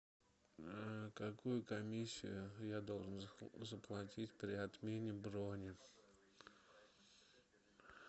какую комиссию я должен заплатить при отмене брони